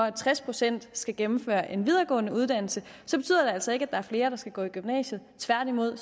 at tres procent skal gennemføre en videregående uddannelse så betyder det altså ikke at der er flere der skal gå i gymnasiet tværtimod